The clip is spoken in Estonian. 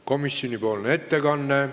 Komisjoni ettekanne.